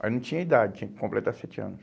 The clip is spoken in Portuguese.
Mas não tinha idade, tinha que completar sete anos.